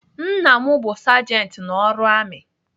Nna m bụ sajenti n'ọrụ amị.